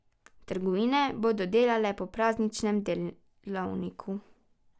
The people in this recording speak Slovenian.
Trgovine bodo delale po prazničnem delovniku.